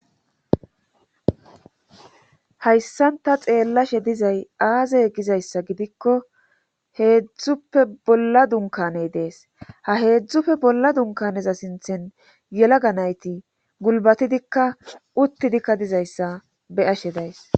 Hayssanta xeellashe dizay aazey gizayssa gidikko heedzdzuppe bolla dunkaney dees ha heedzdzupfe bolla dunkaneza sinthen yela ga nayti gulbatidikka uttidikka dizayssa beyashe days